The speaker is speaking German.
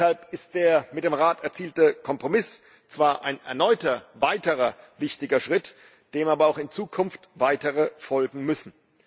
Deshalb ist der mit dem Rat erzielte Kompromiss zwar ein erneuter, weiterer wichtiger Schritt, dem aber auch in Zukunft weitere folgen müssen.